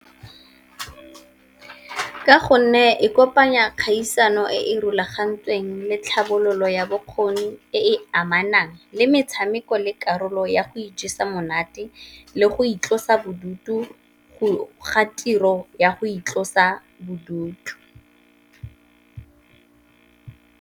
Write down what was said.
Ka gonne e kopanya kgaisano e e rulagantsweng le tlhabololo ya bokgoni, e e amanang le metshameko le karolo ya go ijesa monate, le go itlosa bodutu ga tiro ya go itlosa bodutu.